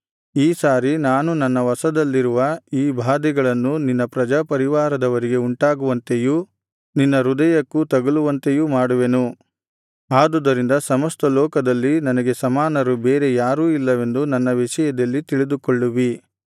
ಈ ಸಾರಿ ನಾನು ನನ್ನ ವಶದಲ್ಲಿರುವ ಈ ಬಾಧೆಗಳನ್ನು ನಿನ್ನ ಪ್ರಜಾಪರಿವಾರದವರಿಗೆ ಉಂಟಾಗುವಂತೆಯೂ ನಿನ್ನ ಹೃದಯಕ್ಕೂ ತಗಲುವಂತೆಯೂ ಮಾಡುವೆನು ಆದುದರಿಂದ ಸಮಸ್ತ ಲೋಕದಲ್ಲಿ ನನಗೆ ಸಮಾನರು ಬೇರೆ ಯಾರೂ ಇಲ್ಲವೆಂದು ನನ್ನ ವಿಷಯದಲ್ಲಿ ತಿಳಿದುಕೊಳ್ಳುವಿ